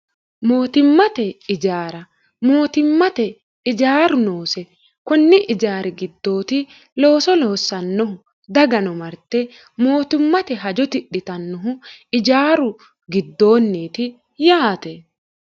mootimmate ijaara mootimmate ijaaru noose kunni ijaari giddooti looso loossannohu dagano marte mootummate hajo tidhitannohu ijaaru giddoonniiti yaate